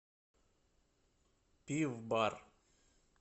пив бар